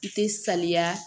I tɛ saniya